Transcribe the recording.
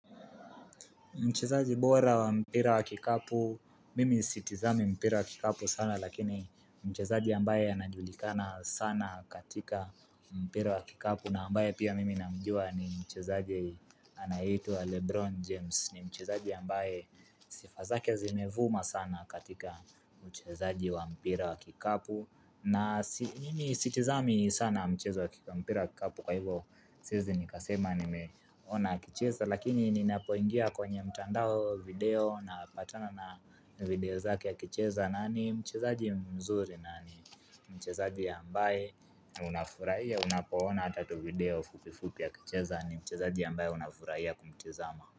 Mchezaji bora wa mpira wa kikapu, mimi sitizami mpira wa kikapu sana lakini mchezaji ambaye anajulikana sana katika mpira wa kikapu na ambaye pia mimi namjua ni mchezaji anayeitwa Lebron James ni mchezaji ambaye sifa zake zimevuma sana katika mchezaji wa mpira wa kikapu na nini sitizami sana mchezo wa kikampira kikapu kwa hivyo Siwezi nikasema nimeona akicheza lakini ninapoingia kwenye mtandao video na patana na video zake akicheza na ni mchezaji mzuri na ni mchezaji ya ambaye unafurahiya unapoona ata video fupi fupi ya kicheza ni mchezaji ya ambaye unafuraiya kumchezama.